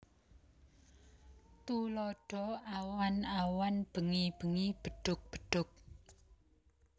Tuladha Awan awan bengi bengi bedhug bedhug